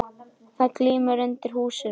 Það glymur undir í húsinu.